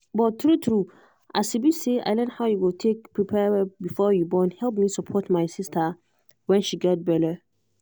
but true true as e be say i learn how you go take prepare before you borne help me support my sister when she get belle.